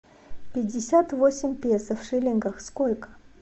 пятьдесят восемь песо в шиллингах сколько